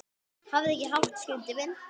Hafðu ekki hátt, Skundi minn.